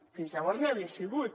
fins llavors no hi havia sigut